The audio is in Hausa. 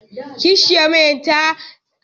Kishiyar Maryam tana kishi da mama ta haifa namijin.